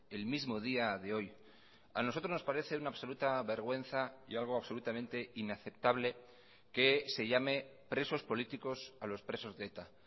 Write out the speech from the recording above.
el mismo día de hoy a nosotros nos parece una absoluta vergüenza y algo absolutamente inaceptable que se llame presos políticos a los presos de eta